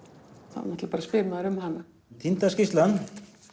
þá náttúrulega spyr maður um hana týnda skýrslan